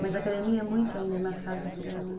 Mas a academia é muito ainda marcada por ela, né?